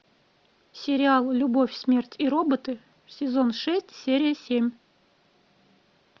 сериал любовь смерть и роботы сезон шесть серия семь